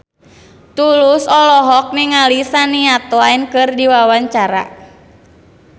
Tulus olohok ningali Shania Twain keur diwawancara